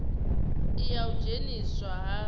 i ya u dzheniswa ha